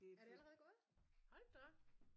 Er det allerede gået? Hold da op